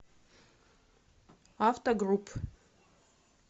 автогрупп